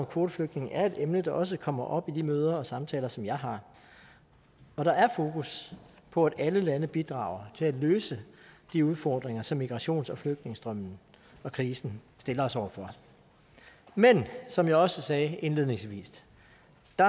kvoteflygtninge er et emne der også kommer op i de møder og samtaler som jeg har og der er fokus på at alle lande bidrager til at løse de udfordringer som migrations og flygtningestrømmen og krisen stiller os over for men som jeg også sagde indledningsvis